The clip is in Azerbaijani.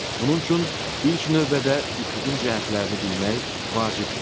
Bunun üçün ilk növbədə üfüqün cəhətlərini bilmək vacibdir.